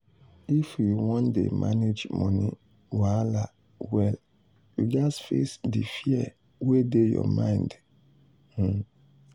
if you wan dey manage money wahala well you gats face di fear wey dey your mind. um